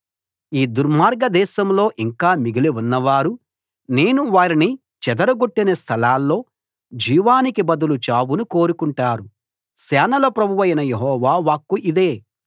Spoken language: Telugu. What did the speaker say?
ఈ దుర్మార్గ దేశంలో ఇంకా మిగిలి ఉన్నవారు నేను వారిని చెదర గొట్టిన స్థలాల్లో జీవానికి బదులు చావును కోరుకుంటారు సేనల ప్రభువైన యెహోవా వాక్కు ఇదే